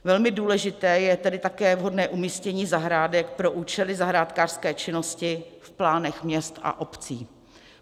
Velmi důležité je tedy také vhodné umístění zahrádek pro účely zahrádkářské činnosti v plánech měst a obcí.